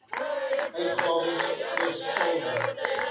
uitgawes plus saldo